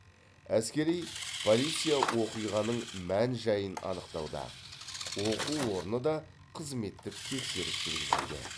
әскери полиция оқиғаның мән жайын анықтауда оқу орны да қызметтік тексеріс жүргізуде